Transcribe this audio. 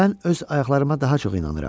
Mən öz ayaqlarıma daha çox inanıram.